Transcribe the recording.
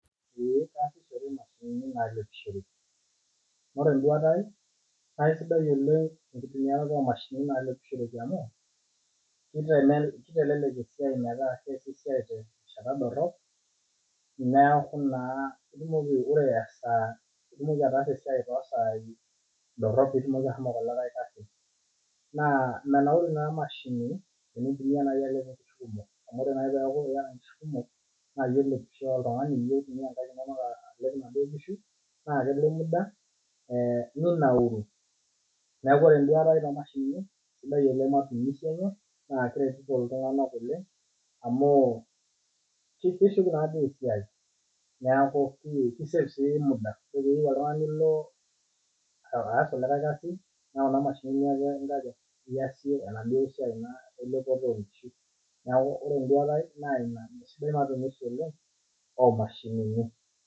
ee keyasishoreki imashinini naasishoreki oree enduata ai naa keisidai oleng' enkitumiarata oo mashinini naasishoreki amu keitalelek esiai metaasi esiai terishata dorrop neeku naa piitumoki ataasa esiai too saii ndorop piitumoki ashomo kulikai kasin naa menauru ina mashini neniindim naayi atelepie inkishu kumok amu ore nayii peyaku iyata inkishu kumok naa iye olepisho too nkaek inono alep inaduoo kishu naa kelo emuda ninauru neeku oree enduata aii too mashinini sidai oleng' mashinini naa keiretito iltung'anak oleng, amuu ketishu naa esiai neeku kei save sii muda piilo oltung, ani aas kulie kasin naa kuna mashinini naake inkaja iyasie enaduoo siai naa elepoto oo nkishu neeku ore enduata aii naa esidai taa oshi oleng' ina siai oomashinini.